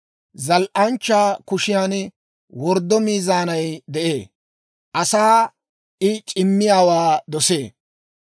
Zal"anchchaa kushiyan worddo miizaanay de'ee; asaa I c'immiyaawaa dosee.